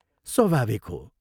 स्वाभाविक हो।